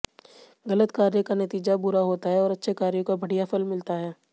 गलत कार्य का नतीजा बुरा होता है और अच्छे कार्यों का बढि़या फल मिलता है